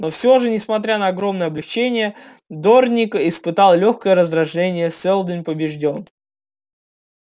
но всё же несмотря на огромное облегчение дорник испытал лёгкое раздражение сэлдон побеждён